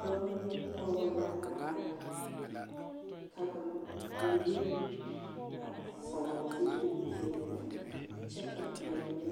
Dɔba ne pɔgeba a are ka bamine a vɔgele zupili peɛle kyɛ ka ba mine